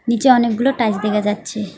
নিচে অনেকগুলো টাইলস দেখা যাচ্ছে।